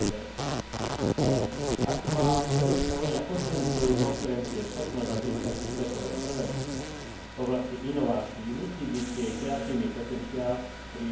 Ak má Európska únia posilniť svoju konkurencieschopnosť a získať si svetové prvenstvo v oblasti inovácií, musí byť jej kreatívny potenciál primerane zabezpečený.